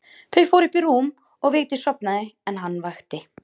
Þau fóru upp í rúm og Vigdís sofnaði en hann vakti.